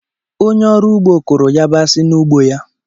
Onye ọrụ ugbo kụrụ yabasị n’ugbo ya.